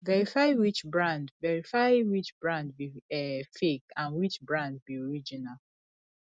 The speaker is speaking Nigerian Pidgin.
verify which brand verify which brand be um fake and which brand be original